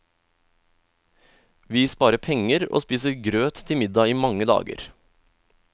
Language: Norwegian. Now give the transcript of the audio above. Vi sparer penger og spiser grøt til middag i mange dager.